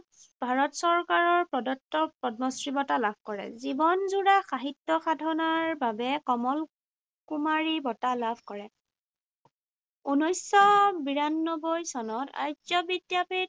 ভাৰত চৰকাৰৰ প্ৰদত্ত পদ্মশ্ৰী বঁটা লাভ কৰে। জীৱনজোৰা সাহিত্য সাধনাৰ বাবে কমল কুমাৰী বঁটা লাভ কৰে। ঊনৈশশ বিৰানব্বৈ চনত আৰ্য বিদ্যাপীঠ